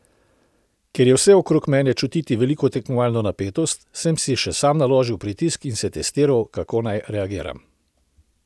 Ker je vse okrog mene čutiti veliko tekmovalno napetost, sem si še sam naložil pritisk in se testiral, kako nanj reagiram.